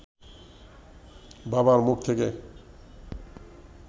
বাবার মুখ থেকে